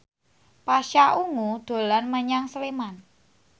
Pasha Ungu dolan menyang Sleman